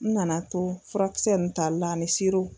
N nana to furakisɛ nun talila ani siro.